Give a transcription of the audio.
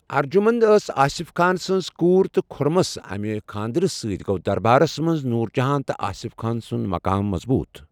ارجُمنٛد ٲس آصف خان سٕنٛز کوٗر تہٕ خُرَمس امہِ خاندرٕ سٕتہِ گو دربارس منٛز نورٗ جہان تہٕ آصف خان سُنٛد مُقام مضبوٗط۔